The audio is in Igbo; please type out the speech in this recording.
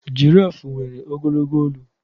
Jirafụ nwere ogologo olu.